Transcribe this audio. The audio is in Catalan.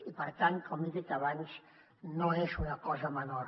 i per tant com he dit abans no és una cosa menor